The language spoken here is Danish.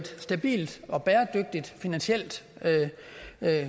stabilt og bæredygtigt finansielt